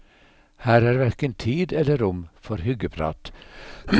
Her er hverken tid eller rom for hyggeprat.